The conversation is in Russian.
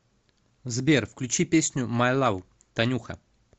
сбер включи песню май лав танюха